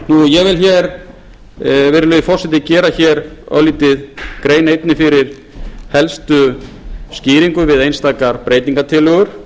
ég vil hér virðulegi forseti gera hér örlítið grein einnig fyrir helstu skýringum við einstaka breytingartillögur